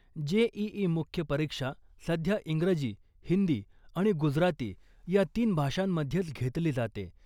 JEE मुख्य परीक्षा सध्या इंग्रजी , हिंदी आणि गुजराती या तीन भाषांमध्येच घेतली जाते .